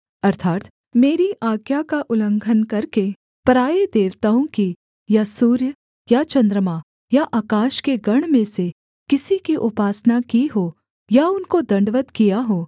अर्थात् मेरी आज्ञा का उल्लंघन करके पराए देवताओं की या सूर्य या चन्द्रमा या आकाश के गण में से किसी की उपासना की हो या उनको दण्डवत् किया हो